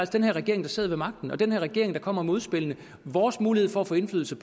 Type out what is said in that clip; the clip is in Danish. den her regering der sidder ved magten og den her regering der kommer med udspillene vores mulighed for at få indflydelse